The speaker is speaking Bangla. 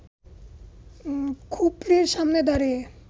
খুপরির সামনে দাঁড়িয়ে